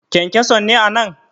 kyankyanson ne a nan!